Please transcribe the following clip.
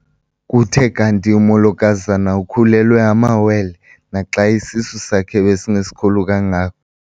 Kuthe kanti umolokazana ukhulelwe amawele naxa isisu sakhe besingesikhulu kangako.